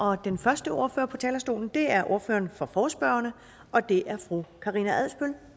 og den første ordfører på talerstolen er ordføreren for forespørgerne og det er fru karina adsbøl